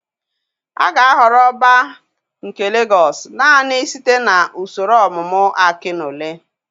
A ga-ahọrọ Ọbá nke Legọs naanị site na usoro ọmụmụ Akinole.